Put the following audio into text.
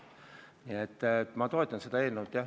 Nii et ma toetan seda eelnõu.